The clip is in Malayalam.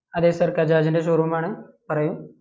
അതെ Sir ഗജാജ്ൻ്റെ showroom ആണ് പറയൂ